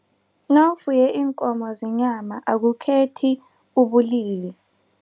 Nawufuye iinkomo zenyama akukhethi ubulili.